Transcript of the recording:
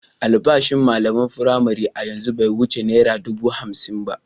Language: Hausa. Albashin malaman firamare a yanzu bai wuce naira dubu hamsin ba.